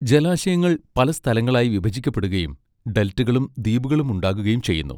ജലാശയങ്ങൾ പല സ്ഥലങ്ങളായി വിഭജിക്കപ്പെടുകയും ഡെൽറ്റകളും ദ്വീപുകളും ഉണ്ടാകുകയും ചെയ്യുന്നു.